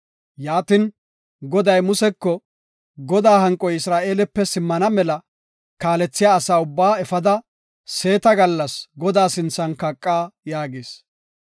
Yaatin, Goday Museko, “Godaa hanqoy Isra7eelepe simmana mela kaalethiya asa ubbaa efada seeta gallas Godaa sinthan kaqa” yaagis.